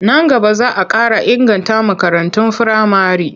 Nan gaba za a ƙara inganta makarantun firamare.